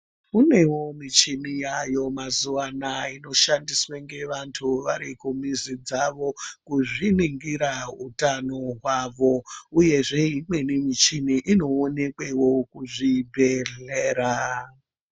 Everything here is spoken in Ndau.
Kunewo muchini yayo mazivana inoshandiswa ngevantu vari kumizi dzavo kuzviningira utano hwavo uyezve imweni muchini inoonekwewo kuzvibhehlera.